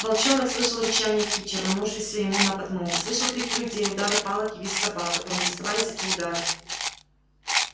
волчонок слышал рычание кичи рванувшейся ему на подмогу слышал крики людей удары палок и визг собак которым доставались эти удары